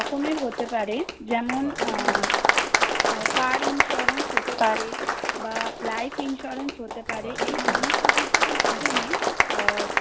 অনেক রকমের হতে পারে যেমন আ car insurance হতে পারে বা life insurance হতে পারে। এই সমস্ত কিছুর মাধ্যমে